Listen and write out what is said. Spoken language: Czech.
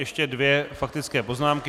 Ještě dvě faktické poznámky.